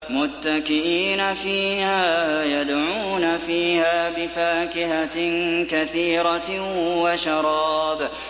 مُتَّكِئِينَ فِيهَا يَدْعُونَ فِيهَا بِفَاكِهَةٍ كَثِيرَةٍ وَشَرَابٍ